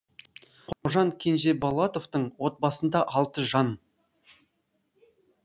қожан кенжеболатовтың отбасында алты жан